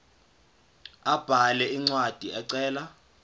abhale incwadi ecela